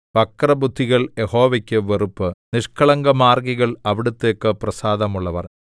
വക്രബുദ്ധികൾ യഹോവയ്ക്ക് വെറുപ്പ് നിഷ്കളങ്കമാർഗ്ഗികൾ അവിടുത്തേക്ക് പ്രസാദമുള്ളവർ